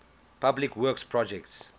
public works projects